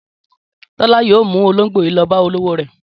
Tọ́lá yóò mú olóńgbò yìí lọ bá olówó rẹ̀.